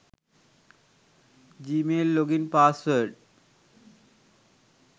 gmail login password